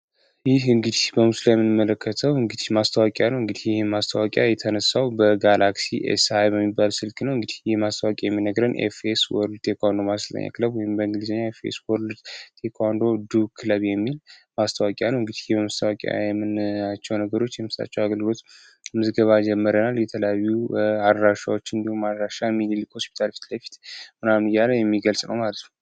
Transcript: ይህ እንግዲህ በሙስላምን መለከተው እንግዲህ ማስተዋቂያ ነው እንግዲህ ይህ ማስተዋቂያ የተነሳው በጋላክሲ ኤሳሃይ በሚባል ስልክ ነው እንግዲህ ይህ ማስተዋቂ የሚነግረን ኤፌስ ወርል ቴኳንዶ ማስለተኛ ክለብ ም በእንግሊዝኛ ፌስ ወርል ቴኳንዶ ዱu ክለብ የሚል ማስተዋቂያ ነው እንግዲህ በመስተዋቂያ የምነቸው ነገሮች የምሳቸው ሀገልሎት ምዝገባ ጀመረ ናል የተለቢው አድራሻዎች እንዲሁም አድራሻ የሚሊ ሊቆ ስፒታል ፊት ለይፊት እናምን እያለ የሚገልጽ ነው፡፡